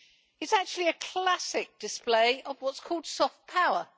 It is actually a classic display of what is called soft power'.